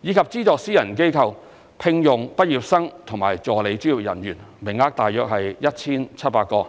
以及資助私人機構聘用畢業生和助理專業人員，名額約 1,700 個。